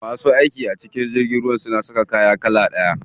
Masu aiki a cikin jirgin ruwa suna saka kaya iri ɗaya.